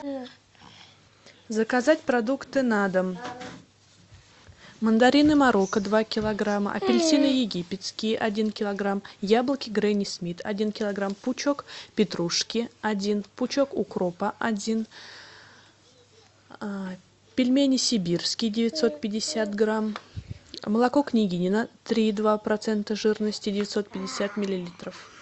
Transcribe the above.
заказать продукты на дом мандарины марокко два килограмма апельсины египетские один килограмм яблоки гренни смит один килограмм пучок петрушки один пучок укропа один пельмени сибирские девятьсот пятьдесят грамм молоко княгинино три и два процента жирности девятьсот пятьдесят миллилитров